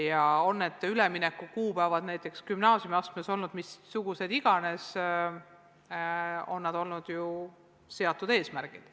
Ja olgu ülemineku kuupäevad näiteks gümnaasiumiastmes missugused tahes, need on olnud seatud eesmärgid.